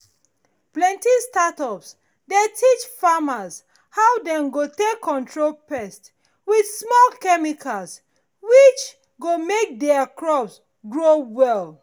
plenty startup dey teach farmers how dem go take control pest with small chemicals which go make dey crops grow well.